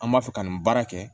An b'a fɛ ka nin baara kɛ